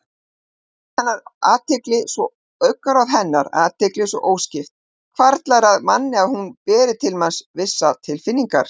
Augnaráð hennar, athygli svo óskipt, hvarflar að manni að hún beri til manns vissar tilfinningar.